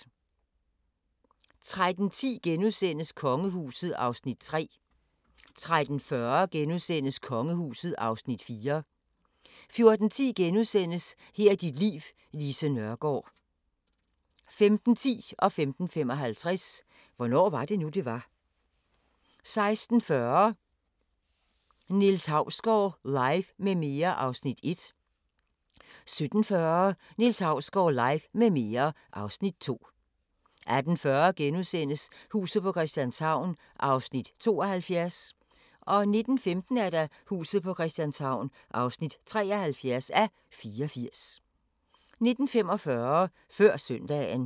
13:10: Kongehuset (Afs. 3)* 13:40: Kongehuset (Afs. 4)* 14:10: Her er dit liv: Lise Nørgaard * 15:10: Hvornår var det nu, det var? * 15:55: Hvornår var det nu, det var? * 16:40: Niels Hausgaard Live med mere (Afs. 1) 17:40: Niels Hausgaard Live med mere (Afs. 2) 18:40: Huset på Christianshavn (72:84)* 19:15: Huset på Christianshavn (73:84) 19:45: Før Søndagen